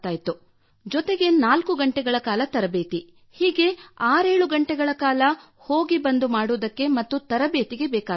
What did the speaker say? ಹಾಗೂ ನಾಲ್ಕು ಗಂಟೆಗಳ ಕಾಲ ತರಬೇತಿ ಹೀಗೆ 67 ಗಂಟೆಗಳ ಕಾಲ ಹೋಗು ಬಂದು ಮಾಡುವುದಕ್ಕೆ ಮತ್ತು ತರಬೇತಿಗೆ ಬೇಕಾಗುತ್ತಿತ್ತು